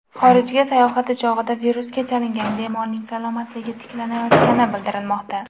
Xorijga sayohati chog‘ida virusga chalingan bemorning salomatligi tiklanayotgani bildirilmoqda.